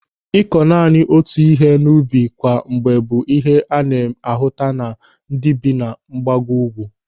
Ị́kụ́ naanị otu ihe n'ubi kwa mgbe bụ ihe a na-ahụta na ndị bi na mgbago ugwu.